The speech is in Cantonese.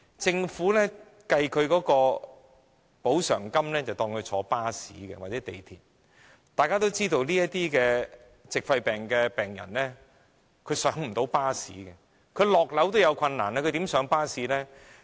政府計算的補償金額是以乘坐巴士或港鐵計算，但大家也知道，這些矽肺病的病人連下樓梯也有困難，試問他們如何上落巴士呢？